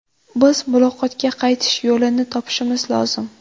Biz muloqotga qaytish yo‘lini topishimiz lozim.